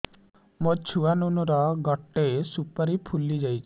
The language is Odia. ମୋ ଛୁଆ ନୁନୁ ର ଗଟେ ସୁପାରୀ ଫୁଲି ଯାଇଛି